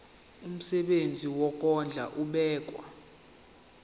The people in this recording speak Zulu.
umsebenzi wokondla ubekwa